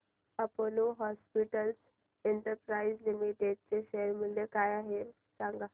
Apollo hospitals enterprise limited चे share मूल्य काय आहे सांगा